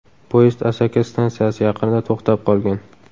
Poyezd Asaka stansiyasi yaqinida to‘xtab qolgan.